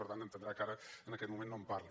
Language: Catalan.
per tant entendrà que ara en aquest moment no en parli